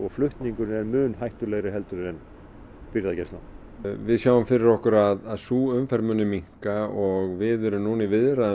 flutningurinn er mun hættulegri en birgðagæslan við sjáum fyrir okkur að sú umferð muni minnka og við erum nú í viðræðum